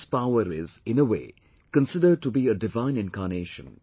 Peoples' power is, in a way, considered to be a divine incarnation